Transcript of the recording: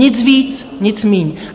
Nic víc, nic míň.